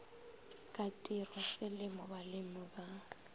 ka tirwa selemo balemi ba